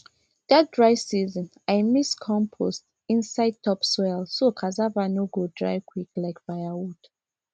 that dry season i mix compost inside top soil so cassava no go dry quick like firewood